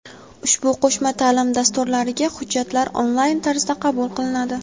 Ushbu qo‘shma taʼlim dasturlariga hujjatlar onlayn tarzda qabul qilinadi.